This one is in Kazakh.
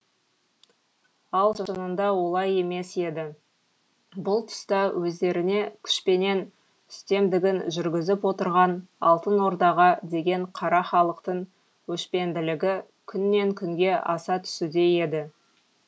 ал шынында олай емес еді бұл тұста өздеріне күшпенен үстемдігін жүргізіп отырған алтын ордаға деген қара халықтың өшпенділігі күннен күнге аса түсуде еді